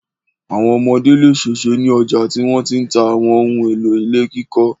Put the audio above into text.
Àwọn ọmọdé le ṣèṣe ní ọjà tí wọ́n ti ń ta àwọn ohun-èlò ilé kíkọ́.